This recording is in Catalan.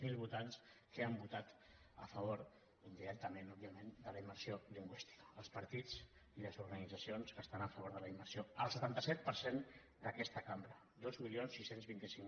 zero votants que han votat a favor indirectament òbviament de la immersió lingüística els partits i les organitzacions que estan a favor de la immersió el setanta set per cent d’aquesta cambra dos mil sis cents i vint cinc